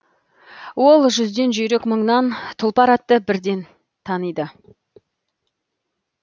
ол жүзден жүйрік мыңнан тұлпар атты бірден таниды